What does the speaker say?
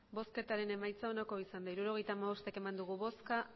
emandako botoak hirurogeita hamabost bai